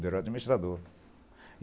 Ele era administrador.